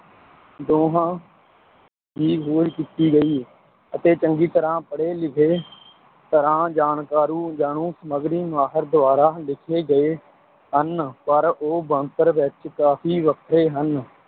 ਦੋਵਾਂ ਦੀ ਖੋਜ ਕੀਤੀ ਗਈ ਹੈ ਅਤੇ ਚੰਗੀ ਤਰ੍ਹਾਂ ਪੜ੍ਹੇ-ਲਿਖੇ ਤਰ੍ਹਾਂ ਜਾਣਕਾਰੂ ਜਾਣੂ ਸਮੱਗਰੀ ਮਾਹਰ ਦੁਆਰਾ ਲਿਖੇ ਗਏ ਹਨ, ਪਰ ਉਹ ਬਣਤਰ ਵਿੱਚ ਕਾਫ਼ੀ ਵੱਖਰੇ ਹਨ